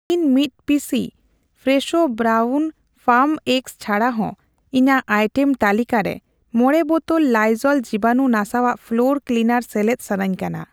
ᱤᱧ ᱢᱤᱛ ᱯᱤᱥᱤ ᱯᱷᱨᱮᱥᱷᱳ ᱵᱨᱟᱣᱩᱱ ᱯᱷᱟᱨᱢ ᱮᱜᱜᱥ ᱪᱷᱟᱰᱟ ᱦᱚ ᱤᱧᱟᱜ ᱟᱭᱴᱮᱢ ᱛᱟᱹᱞᱤᱠᱟ ᱨᱮ ᱢᱚᱲᱮ ᱵᱚᱛᱚᱞ ᱠᱩ ᱞᱤᱡᱳᱞ ᱡᱤᱵᱟᱱᱩ ᱱᱟᱥᱟᱣᱟᱜ ᱯᱷᱞᱳᱨ ᱠᱞᱤᱱᱟᱨ ᱥᱮᱞᱮᱫ ᱥᱟᱱᱟᱧ ᱠᱟᱱᱟ ᱾